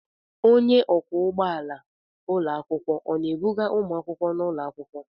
Onye ọkwọ ụgbọala ụlọ akwụkwọ ọ na-ebuga ụmụakwụkwọ n'ụlọ akwụkwọ?